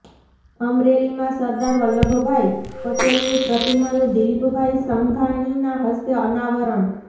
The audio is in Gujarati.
અમરેલીમાં સરદાર વલ્લભભાઇ પટેલની પ્રતિમાનું દિલીપભાઇ સંઘાણીના હસ્તે અનાવરણ